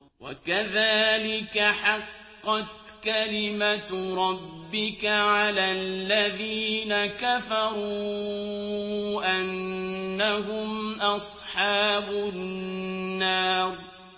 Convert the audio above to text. وَكَذَٰلِكَ حَقَّتْ كَلِمَتُ رَبِّكَ عَلَى الَّذِينَ كَفَرُوا أَنَّهُمْ أَصْحَابُ النَّارِ